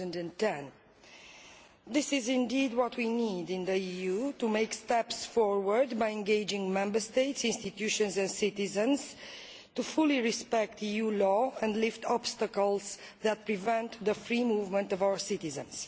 2010. This is indeed what we need in the EU to take steps forward by engaging Member States, institutions and citizens to fully respect EU law and lift obstacles to the free movement of our citizens.